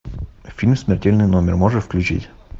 фильм смертельный номер можешь включить